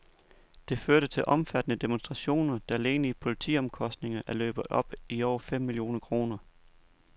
Det førte til omfattende demonstrationer, der alene i politiomkostninger er løbet op i over fem millioner kroner.